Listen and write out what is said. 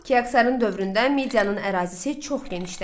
Kiaksarın dövründə Miyanın ərazisi çox genişləndi.